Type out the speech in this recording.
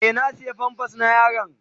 Eh, na siya "pampers " na yaron.